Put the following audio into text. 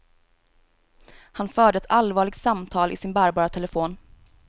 Han förde ett allvarligt samtal i sin bärbara telefon.